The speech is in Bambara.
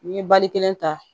N ye bali kelen ta